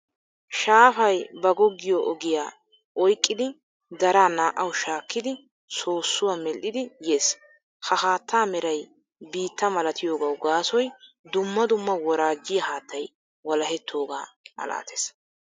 Shaafay ba goggiyo ogiya oyqqidi daraa naa"awu shaakkidi soossuwa medhdhidi yees. Ha haattaa Meray biitta malatiyoogawu gaasoy dumma dumma woraajjiya haattay wolahettoogaa malates.